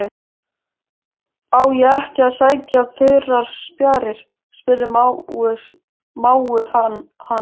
Á ég ekki að sækja þurrar spjarir? spurði mágur hans.